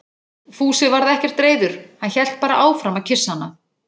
Fúsi varð ekkert reiður, hann hélt bara áfram að kyssa hana.